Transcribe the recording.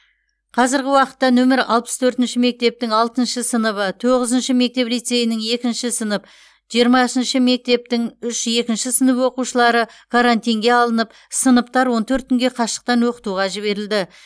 қазіргі уақытта нөмір алпыс төртінші мектептің алтыншы сыныбы тоғызыншы мектеп лицейінің екінші сынып жиырмасыншы мектептің үш екінші сынып оқушылары карантинге алынып сыныптар он төрт күнге қашықтан оқытуға жіберілді